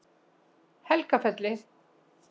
Helgafelli